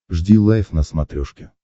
жди лайв на смотрешке